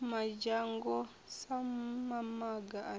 madzhango sa mamaga a ne